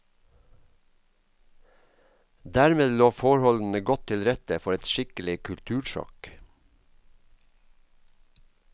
Dermed lå forholdene godt til rette for et skikkelig kultursjokk.